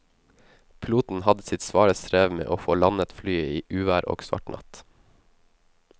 Piloten hadde sitt svare strev med å få landet flyet i uvær og svart natt.